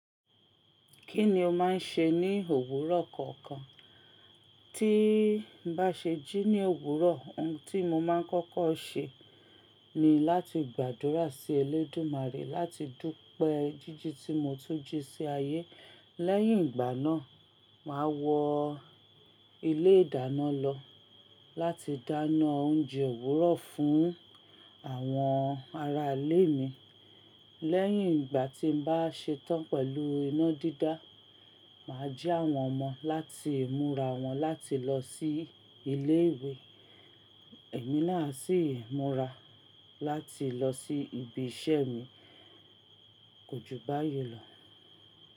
Kí ni o máa ń ṣe ní òwúrọ̀ kọ̀ọ̀kan? Tí n bá ṣe jí ní òwúrọ̀, ohun tí mo máa ń kọ́kọ́ ṣe ni láti gbàdúrà sí Elédùmarè láti dúpẹ́ jíjí tí mo tún jí sí ayé. Lẹ́yìn ìgbà náà, màá wọ ilé ìdáná lọ láti dáná oúnjẹ òwúrọ̀ fún àwọn ará ilé mi. Lẹ́yìn ìgbà tí n bá ṣe tán pẹ̀lú iná dídá, màá jí àwọn ọmọ láti múra wọn láti lọ sí ilé ìwé. Èmi náà á sì ń múra láti lọ sí ibi iṣẹ́ mi. Kójúbáyí lọ.